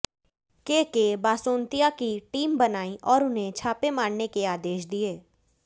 केके बासोतियां की टीम बनाई और उन्हें छापे मारने के आदेश दिए